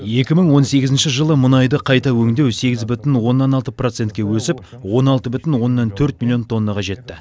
екі мың он сегізінші жылы мұнайды қайта өңдеу сегіз бүтін оннан алты процентке өсіп он алты бүтін оннан төрт миллион тоннаға жетті